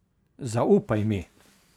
Zaupaj mi.